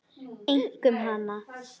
Einkum hana.